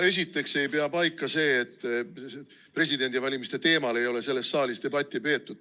No esiteks ei pea paika see, et presidendivalimiste teemal ei ole selles saalis debatti peetud.